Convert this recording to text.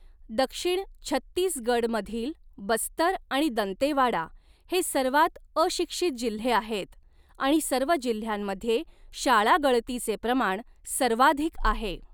दक्षिण छत्तीसगडमधील बस्तर आणि दंतेवाडा हे सर्वात अशिक्षित जिल्हे आहेत आणि सर्व जिल्ह्यांमध्ये शाळागळतीचे प्रमाण सर्वाधिक आहे.